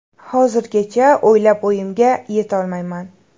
Hozirgacha o‘ylab o‘yimga yetolmayman.